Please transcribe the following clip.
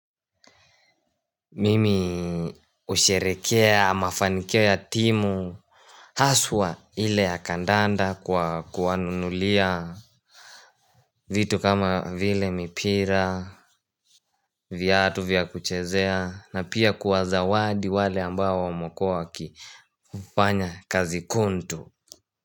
Mimi usherekea mafanikio ya timu. Haswa ile ya kandanda kwa kuwanunulia vitu kama vile mipira viatu vya kuchezea na pia kuwazawadi wale ambao wamekua wakifanya kazi kuntu.